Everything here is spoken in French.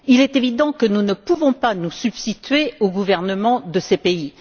Il est évident que nous ne pouvons pas nous substituer aux gouvernements de ces pays.